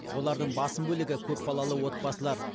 олардың басым бөлігі көпбалалы отбасылар